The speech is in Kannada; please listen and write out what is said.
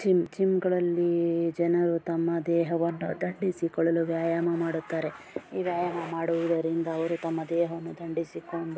ಜಿಮ್ ಜಿಮ್ಗ ಳಲ್ಲಿ ಜನರು ತಮ್ಮ ದೇಹವನ್ನು ದಂಡಿಸಿಕೊಳ್ಳಲು ವ್ಯಾಯಾಮ ಮಾಡುತ್ತಾರೆ ಈ ವ್ಯಾಯಾಮ ಮಾಡುವುದರಿಂದ ಅವರು ತಮ್ಮ ದೇಹವನ್ನು ದಂಡಿಸಿಕೊಂಡು --